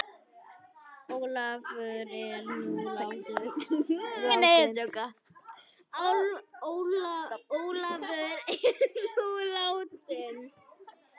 Ólafur er nú látinn.